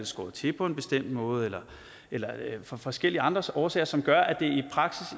skåret til på en bestemt måde eller eller af forskellige andre årsager som gør at det